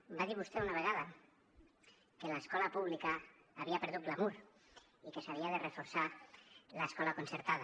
em va dir vostè una vegada que l’escola pública havia perdut glamur i que s’havia de reforçar l’escola concertada